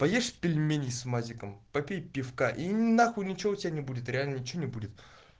поешь пельменей с мазиком попей пивка и нахуй ничего у тебя не будет реально ничего не будет